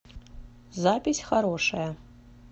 запись хорошая